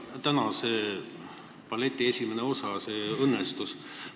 Tänase balleti esimene osa õnnestus.